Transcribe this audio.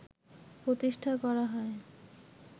প্রতিষ্ঠা করা হয়